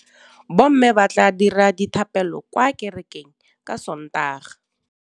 Bommê ba tla dira dithapêlô kwa kerekeng ka Sontaga.